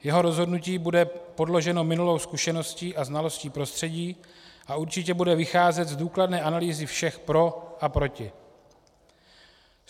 Jeho rozhodnutí bude podloženo minulou zkušeností a znalostí prostředí a určitě bude vycházet z důkladné analýzy všech pro a proti.